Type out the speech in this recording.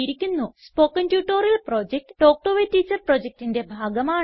spoken tutorial project talk to a teacher പ്രൊജക്റ്റിന്റെ ഭാഗമാണ്